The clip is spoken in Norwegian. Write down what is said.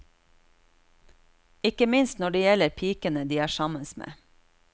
Ikke minst når det gjelder pikene de er sammen med.